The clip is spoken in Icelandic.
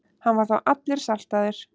Hann var þá allur saltaður.